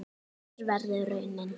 Hver verður raunin?